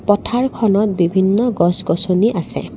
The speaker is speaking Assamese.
পথাৰখনত বিভিন্ন গছ গছনি আছে।